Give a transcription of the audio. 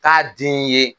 K'a den ye